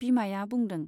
बिमाया बुंदों।